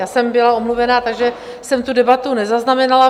Já jsem byla omluvena, takže jsem tu debatu nezaznamenala.